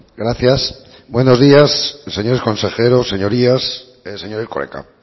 gracias buenos días señores consejeros señorías señor erkoreka